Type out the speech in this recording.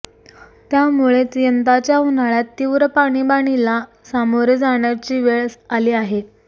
त्यामुळेच यंदाच्या उन्हाळ्यात तीव्र पाणीबाणीला सामोरे जाण्याची वेळ आली आहे